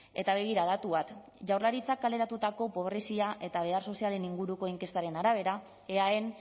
eta begira datu bat jaurlaritzak kaleratutako pobrezia eta behar sozialen inguruko inkestaren arabera eaen